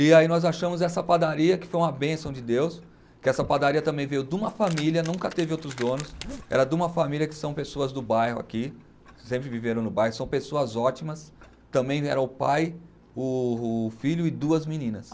E aí nós achamos essa padaria, que foi uma bênção de Deus, que essa padaria também veio de uma família, nunca teve outros donos, era de uma família que são pessoas do bairro aqui, sempre viveram no bairro, são pessoas ótimas, também era o pai, o o filho e duas meninas.